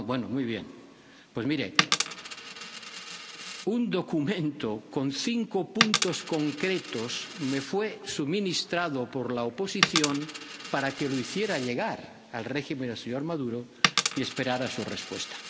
Bueno, muy bien, pues mire un documento con cinco puntos concretos me fue suministrado por la oposición para que lo hiciera llegar al régimen del señor Maduro y esperara su respuesta.